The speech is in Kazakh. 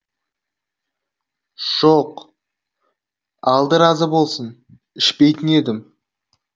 жоқ алды разы болсын ішпейтін едім